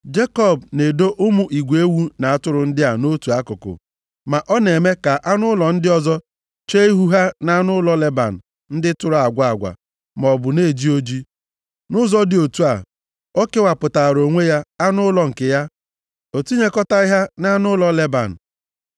Jekọb na-edo ụmụ igwe ewu na atụrụ ndị a nʼotu akụkụ, ma ọ na-eme ka anụ ụlọ ndị ọzọ chee ihu ha nʼanụ ụlọ Leban ndị tụrụ agwa agwa, maọbụ na-eji oji. Nʼụzọ dị otu a, ọ kewapụtaara onwe ya anụ ụlọ nke ya. O tinyekọtaghị ha nʼanụ ụlọ Leban.